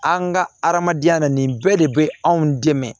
An ka adamadenya na nin bɛɛ de bɛ anw dɛmɛ